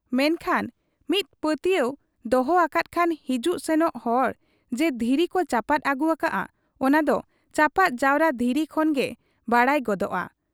ᱢᱮᱱᱠᱷᱟᱱ ᱢᱤᱫ ᱯᱟᱹᱛᱭᱟᱹᱣ ᱫᱚᱦᱚ ᱟᱠᱟᱫ ᱠᱷᱟᱱ ᱦᱤᱡᱩᱜ ᱥᱮᱱᱚᱜ ᱦᱚᱲ ᱡᱮ ᱫᱷᱤᱨᱤ ᱠᱚ ᱪᱟᱯᱟᱫ ᱟᱹᱜᱩ ᱟᱠᱟᱜ ᱟ, ᱚᱱᱟᱫᱚ ᱪᱟᱯᱟᱫ ᱡᱟᱣᱨᱟ ᱫᱷᱤᱨᱤ ᱠᱷᱚᱱᱜᱮ ᱵᱟᱰᱟᱭ ᱜᱚᱫᱚᱜ ᱟ ᱾